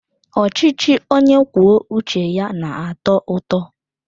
Ọchịchị onye kwuo uche ya na-atọ ụtọ.